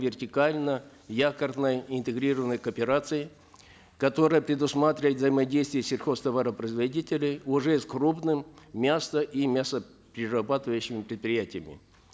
вертикально якорной интегрированной кооперации которая предусматривает взаимодействие сельхозтоваропроизводителей уже с крупными мясо и мясоперерабатывающими предприятиями